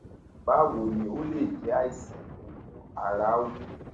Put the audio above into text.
báwo ni o ó lè jẹ àìsàn tó ń mú ara wú